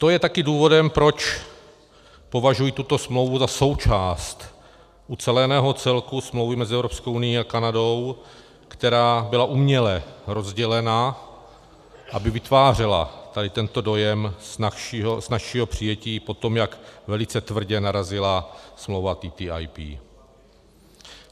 To je taky důvodem, proč považuji tuto smlouvu za součást uceleného celku smlouvy mezi Evropskou unií a Kanadou, která byla uměle rozdělena, aby vytvářela tady tento dojem snazšího přijetí po tom, jak velice tvrdě narazila smlouva TTIP.